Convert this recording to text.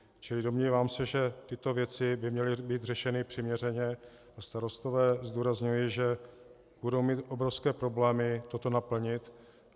Čili domnívám se, že tyto věci by měly být řešeny přiměřeně, a starostové zdůrazňuji, že budou mít obrovské problémy toto naplnit.